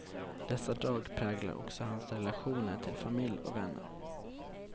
Dessa drag präglade också hans relationer till familj och vänner.